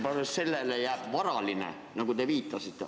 Ja sellele võib järgneda varaline kahju, nagu te viitasite.